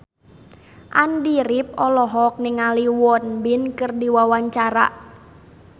Andy rif olohok ningali Won Bin keur diwawancara